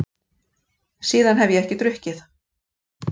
Síðan hef ég ekki drukkið.